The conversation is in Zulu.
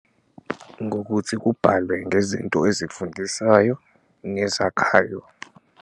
Ngokuthi kubhalwe ngezinto ezifundisayo nezakhayo.